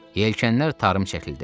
Yelkənlər tarım çəkildi.